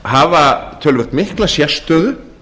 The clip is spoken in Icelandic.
hafa töluvert mikla sérstöðu